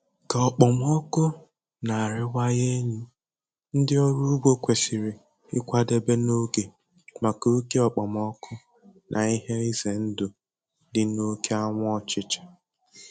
Ka okpomọkụ na-arịwanye elu, ndị ọrụ ugbo kwesịrị ịkwadebe n'oge maka oke okpomọkụ na ihe ize ndụ dị n'oke anwụ ọchịcha.